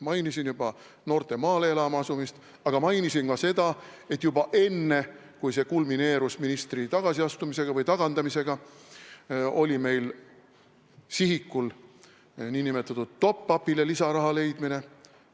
Mainisin juba noorte maale elama asumist, aga mainisin ka seda, et juba enne, kui see kulmineerus ministri tagasiastumise või tagandamisega, oli meil sihikul nn top-up'ile lisaraha leidmine.